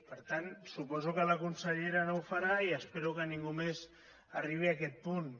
per tant suposo que la consellera no ho farà i espero que ningú més arribi a aquest punt